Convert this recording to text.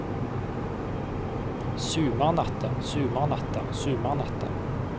sumarnatta sumarnatta sumarnatta